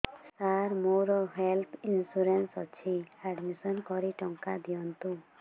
ସାର ମୋର health insurance ଅଛି admission କରି ଟଙ୍କା ଦିଅନ୍ତୁ